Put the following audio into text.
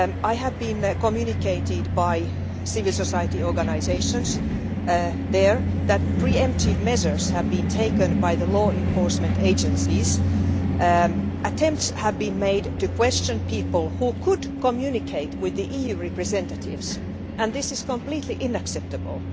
I have been informed by civil society organisations there that pre emptive measures have been taken by the law enforcement agencies. Attempts have been made to question people who could communicate with the EU representatives, and this is completely unacceptable.